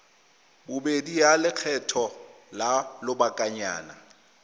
bobedi ya lekgetho la lobakanyana